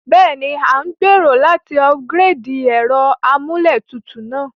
Béèni, a n gbèrò láti upgrade ẹ́ro amúlétutù náà